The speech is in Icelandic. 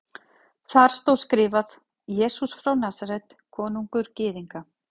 Þar stóð skrifað: Jesús frá Nasaret, konungur Gyðinga.